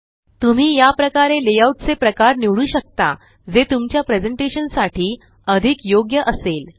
तुम्ही याप्रकारे layout चे प्रकार निवडू शकता जे तुमच्या प्रेज़ेंटेशन साठी अधिक योग्य असेल